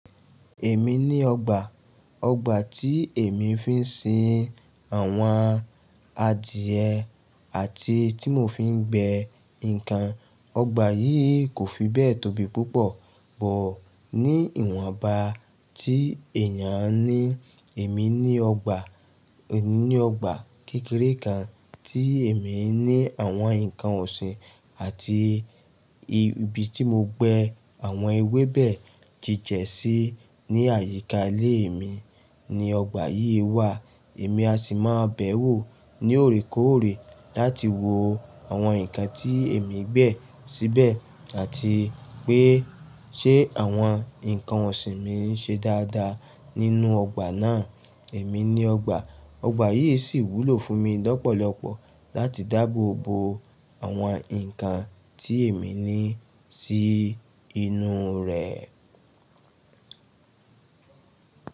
Èmi ní ọgbà, ọgbà tí èmi fi ń sin àwọn adìẹ àti tí mò fi ń gbẹ nǹkan. Ọgbà yìí kò fi bẹ́ẹ̀ tóbi púpọ̀, but ní ìwọ̀nba tí èèyàn ní, èmi ní ọgbà, èmi ní ọgbà kékeré kan tí èmi ní àwọn nǹkan ọ̀sìn àti ibi tí mo gbẹ àwọn ewébẹ̀ jíjẹ̀ sí, ní àyíká ilé mi ni ọgbà yìí wà. Èmi a sì máa bẹẹ wò ní òrékọ́ọ̀rẹ́ láti wo àwọn nǹkan tí èmi gbẹ síbẹ̀ àti pé ṣé àwọn nǹkan ọ̀sìn mí ń ṣe dáadáa nínú ọgbà náà. Èmi ní ọgbà, ọgbà yìí sì wúlò fún mi lọ́pọ̀lọpọ̀ láti dáàbòbo àwọn nǹkan tí èmi ní sí inú rẹ̀.